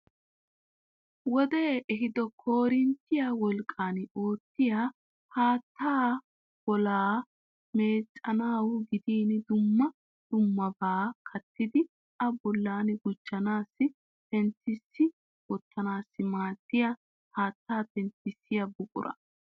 Wodee ehido koorinttiya wolqqan oottiya haattaa bollaa meecettanawu gidin dumma dummabaa kattiiddi a bollan gujjanawu penttissi wottanawu maaddiya haattaa penttissiya buquraa.